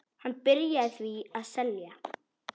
Hann byrjaði því að selja.